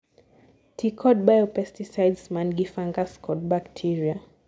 tii kod biopesticides mangi fungus kod bacteria